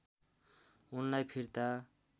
उनलाई फिर्ता